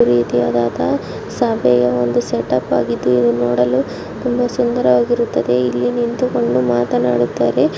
ಇದು ಒಂದು ರೀತಿಯಾದ ಸಭೆಯ ಒಂದು ಸೆಟಪ್ ಆಗಿದ್ದು ಇದನ್ನು ನೋಡಲು ಬಹಳ ಸುಂದರವಾಗಿರುತ್ತದೆ ಹಾಗೂ ಇಲ್ಲಿ ನಿಂತುಕೊಂಡು ಮಾತನಾಡುತ್ತಾರೆ